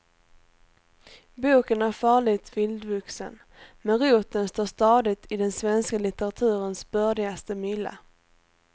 Boken är farligt vildvuxen, men roten står stadigt i den svenska litteraturens bördigaste mylla.